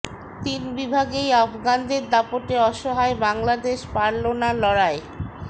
তিন বিভাগেই আফগানদের দাপটে অসহায় বাংলাদেশ পারল না লড়াই